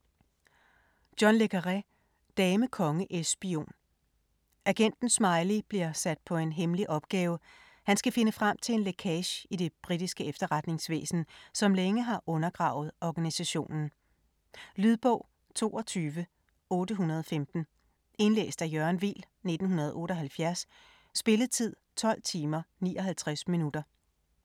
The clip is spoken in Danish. Le Carré, John: Dame konge es spion Agenten Smiley bliver sat på en hemmelig opgave, han skal finde frem til en lækage i det britiske efterretningsvæsen, som længe har undergravet organisationen. Lydbog 22815 Indlæst af Jørgen Weel, 1978. Spilletid: 12 timer, 59 minutter.